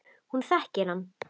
Hún þekkir hann.